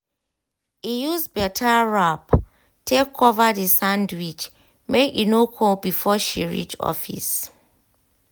e use better wrap take cover the sandwich make e no cold before she reach office.